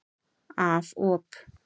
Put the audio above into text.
Af op.